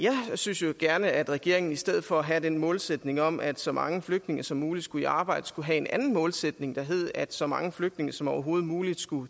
synes jo gerne at regeringen i stedet for at have den målsætning om at så mange flygtninge som muligt skal i arbejde skal have en anden målsætning der hedder at så mange flygtninge som overhovedet muligt